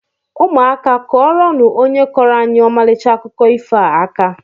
Ụmụaka kuọrọnu ónyé kọro anyị Omalicha akụkọ ifo a aka!!!